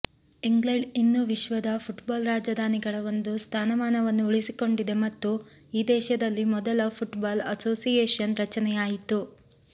England ಇನ್ನೂ ವಿಶ್ವದ football ರಾಜಧಾನಿಗಳ ಒಂದು ಸ್ಥಾನಮಾನವನ್ನು ಉಳಿಸಿಕೊಂಡಿದೆ ಮತ್ತು ಈ ದೇಶದಲ್ಲಿ ಮೊದಲ ಫುಟ್ಬಾಲ್ ಅಸೋಸಿಯೇಷನ್ ರಚನೆಯಾಯಿತು